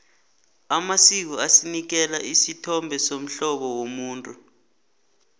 amasiko asinikela isithombe somhlobo womuntu